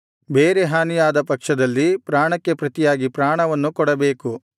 ಬೇರೆ ಹಾನಿಯಾದ ಪಕ್ಷದಲ್ಲಿ ಪ್ರಾಣಕ್ಕೆ ಪ್ರತಿಯಾಗಿ ಪ್ರಾಣವನ್ನು ಕೊಡಬೇಕು